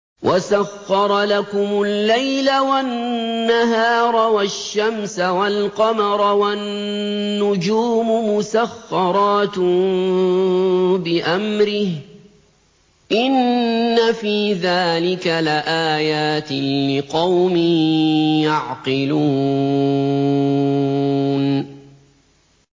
وَسَخَّرَ لَكُمُ اللَّيْلَ وَالنَّهَارَ وَالشَّمْسَ وَالْقَمَرَ ۖ وَالنُّجُومُ مُسَخَّرَاتٌ بِأَمْرِهِ ۗ إِنَّ فِي ذَٰلِكَ لَآيَاتٍ لِّقَوْمٍ يَعْقِلُونَ